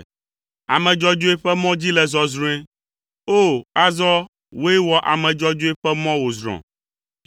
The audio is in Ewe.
Ame dzɔdzɔe ƒe mɔ dzi le zɔzrɔ̃e; O! Azɔ, wòe wɔ ame dzɔdzɔe ƒe mɔ wòzrɔ̃.